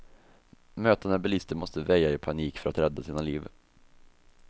Mötande bilister måste väja i panik för att rädda sina liv.